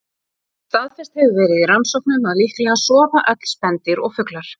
Staðfest hefur verið í rannsóknum að líklega sofa öll spendýr og fuglar.